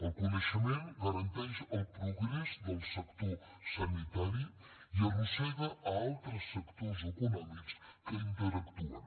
el coneixement garanteix el progrés del sector sanitari i arrossega altres sectors econòmics que interactuen